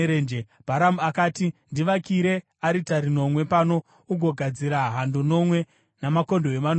Bharamu akati, “Ndivakire aritari nomwe pano, ugogadzira hando nomwe namakondobwe manomwe.”